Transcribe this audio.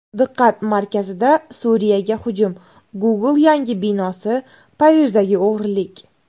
Diqqat markazida: Suriyaga hujum, Google yangi binosi, Parijdagi o‘g‘irlik.